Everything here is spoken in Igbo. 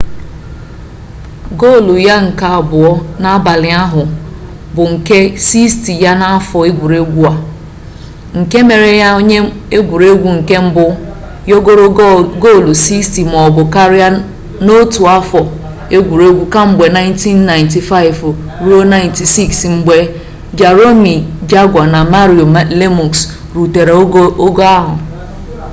gol ya nke abụọ n'abalị ahụ bụ nke 60 ya n'afọ egwuregwu a nke mere ya onye egwuregwu nke mbụ yọgoro gol 60 maọbụ karịa n'otu afọ egwuregwu kemgbe 1995-96 mgbe jaromir jagr na mario lemieux rutere ogo ahụ